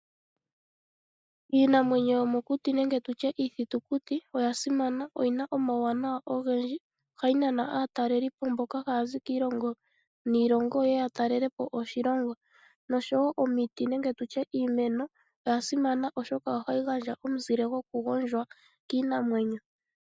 Iinamwenyo yomokuti nenge tutye iithitukuti oya simana yo oyina omauwanawa ogendji. Ohayi nana aataleli po mboka haya zi kiilongo niilongo ye ye ya talele po oshilongo. Oshowo omiti nenge tutye iimeno oya simana oshoka ohayi gandja omuzile goku gondjwa kiinamwenyo.